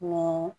Ni